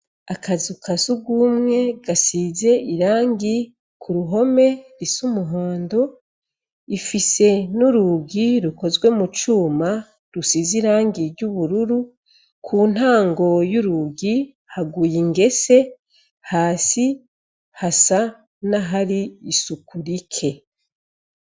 Akazuka sugumwe gasize irangi ku ruhome rise umuhondo ifise n'urugi rukozwe mu cuma rusize irangi ry'ubururu ku ntango y'urugi haguye ingese hasi hasa nahari isuku rike.